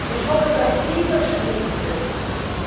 Ich hoffe, dass dieser Stil sich durchsetzt.